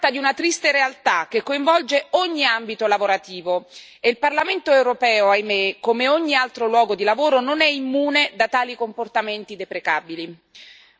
Si tratta di una triste realtà, che coinvolge ogni ambito lavorativo, e il Parlamento europeo, ahimè, come ogni altro luogo di lavoro, non è immune da tali comportamenti deprecabili.